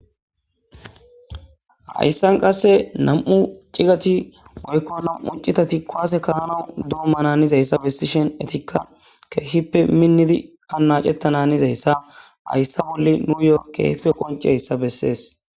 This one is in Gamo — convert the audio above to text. hayssan qasse nam'u cigati woykko nam'u citati kowaase kaa'anawu doommana hanizayssa bessishen etikka keehippe minnidi hanaacetta hanizayssa hayssa bolle nuyo keehipe qoncehayssa bessees